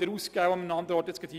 wieder auszugeben.